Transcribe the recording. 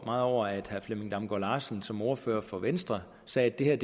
meget over at herre flemming damgaard larsen som ordfører for venstre sagde at det her